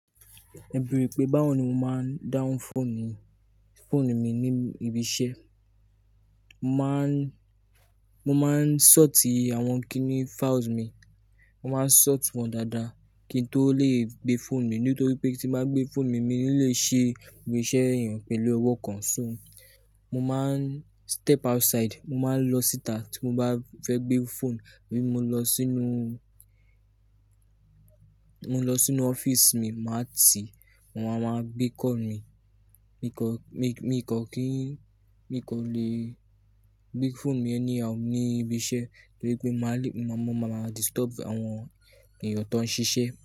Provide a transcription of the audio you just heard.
Ẹ̀ bere pé báwo ni mo máa ń dahun phone mi ní ibi iṣẹ́. Mo máa ń sort àwọn kini files mi. Mo máa ń sort wọn dáadáa kí n tó lè gbé phone mi nítorí pé tí mo bá gbé phone mi, mi ò ní lè ṣe ìse èèyàn pẹ̀lú ọwọ́ kan. So mo máa ń step outside, mo máa ń lọ síta tí mo bá fẹ́ gbé phone, abí mo lọ sínú, mo lọ sínú office mi, màá ti, maa wáa gbé call mí, mi kọ, mi kọ kí n, mi kọ lè gbé phone mi anyhow ni ibi iṣẹ́ nítorí pé màá le, mo máa máa disturb àwọn èèyàn tó ń ṣiṣẹ́